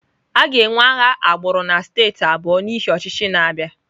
A ga-enwe agha agbụrụ na steeti abụọ n'ihi ọchịchị na-abịa.